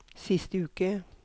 siste uke